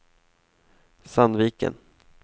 Sandviken